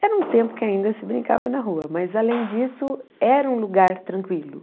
Era um tempo que ainda se brincava na rua, mas, além disso, era um lugar tranquilo.